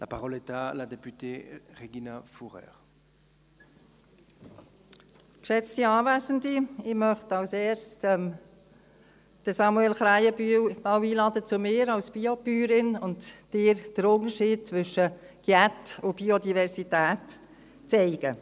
Ich möchte als Erstes Samuel Krähenbühl zu mir als BioBäuerin einladen und dir den Unterschied zwischen Unkraut und Biodiversität zeigen.